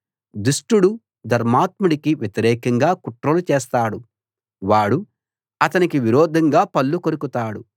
దుష్టుడు ధర్మాత్ముడికి వ్యతిరేకంగా కుట్రలు చేస్తాడు వాడు అతనికి విరోధంగా పళ్ళు కొరుకుతాడు